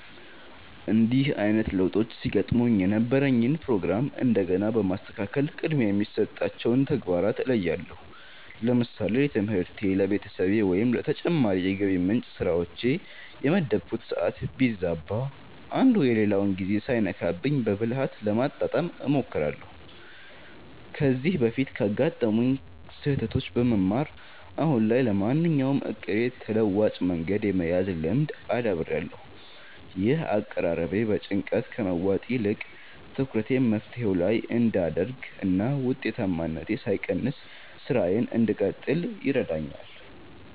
እንዲህ አይነት ለውጦች ሲገጥሙኝ የነበረኝን ፕሮግራም እንደገና በማስተካከል ቅድሚያ የሚሰጣቸውን ተግባራት እለያለሁ። ለምሳሌ ለትምህርቴ፣ ለቤተሰቤ ወይም ለተጨማሪ የገቢ ምንጭ ስራዎቼ የመደብኩት ሰዓት ቢዛባ፣ አንዱ የሌላውን ጊዜ ሳይነካብኝ በብልሃት ለማጣጣም እሞክራለሁ። ከዚህ በፊት ካጋጠሙኝ ስህተቶች በመማር፣ አሁን ላይ ለማንኛውም እቅዴ ተለዋጭ መንገድ የመያዝ ልምድ አዳብሬያለሁ። ይህ አቀራረቤ በጭንቀት ከመዋጥ ይልቅ ትኩረቴን መፍትሄው ላይ እንድ አደርግ እና ውጤታማነቴ ሳይቀንስ ስራዬን እንድቀጥል ይረዳኛል።